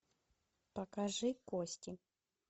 покажи кости